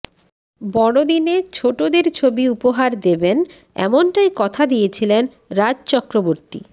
বড়দিনে ছোটদের ছবি উপহার দেবেন এমনটাই কথা দিয়েছিলেন রাজ চক্রবর্তী